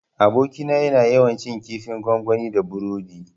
Abokina yana yawan cin kifin gwangwani da burodi